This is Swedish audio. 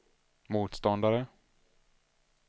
motståndare